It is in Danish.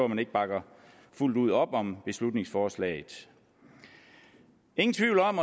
man ikke bakker fuldt ud op om beslutningsforslaget ingen tvivl om